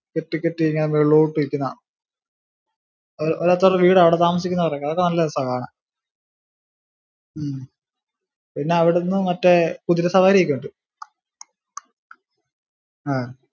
കെട്ടി കെട്ടി ഇങ്ങനെ മേലോട്ട് നിൽക്കുന്നെ കാണാം ഓരോരുത്തരുടെ വീടാവിടൊക്കെ അവിടൊക്കെ താമസിക്കുന്നവുരുടെ അതൊക്കെ നല്ല രസമാ കാണാൻ ആഹ് ഉം പിന്നെ അവിടുന്ന് മറ്റേ കുതിര സവാരി ഒക്കെ ഉണ്ട്. ആഹ്